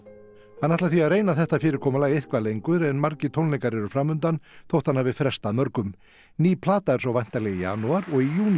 hann ætlar því að reyna þetta fyrirkomulag eitthvað lengur en margir tónleikar eru fram undan þótt hann hafi frestað mörgum ný plata er svo væntanleg í janúar og í júní